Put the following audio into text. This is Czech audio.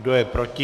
Kdo je proti?